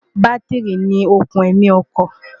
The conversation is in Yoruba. bátírì ni òkùn ẹ̀mí ọkọ̀